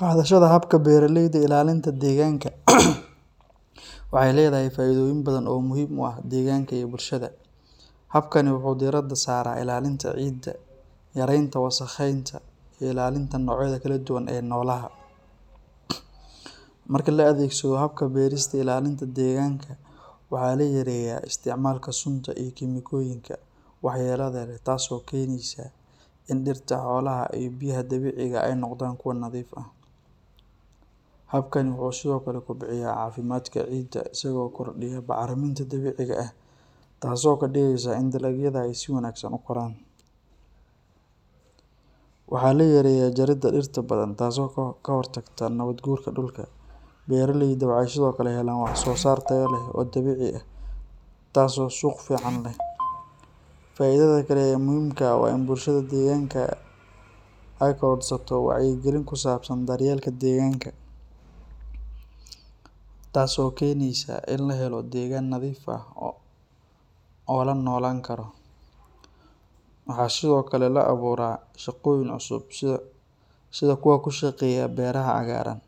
Qaadashada habka beeraleyda ilaalinta deegaanka waxay leedahay faa’iidooyin badan oo muhiim u ah deegaanka iyo bulshada. Habkani wuxuu diiradda saaraa ilaalinta ciidda, yareynta wasakheynta iyo ilaalinta noocyada kala duwan ee noolaha. Marka la adeegsado habka beerista ilaalinta deegaanka, waxaa la yareeyaa isticmaalka sunta iyo kiimikooyinka waxyeellada leh, taas oo keenaysa in dhirta, xoolaha iyo biyaha dabiiciga ah ay noqdaan kuwo nadiif ah. Habkani wuxuu sidoo kale kobciyaa caafimaadka ciidda isagoo kordhiya bacriminta dabiiciga ah, taasoo ka dhigaysa in dalagyada ay si wanaagsan u koraan. Waxaa la yareeyaa jaridda dhirta badan taasoo ka hortagta nabaad guurka dhulka. Beeraleyda waxay sidoo kale helaan wax-soo-saar tayo leh oo dabiici ah taas oo suuq fiican leh. Faa’iidada kale ee muhiimka ah waa in bulshada deegaanka ay korodhsato wacyigelin ku saabsan daryeelka deegaanka, taas oo keenaysa in la helo deegaan nadiif ah oo la noolaan karo. Waxaa sidoo kale la abuuraa shaqooyin cusub sida kuwa ku shaqeeya beeraha cagaaran.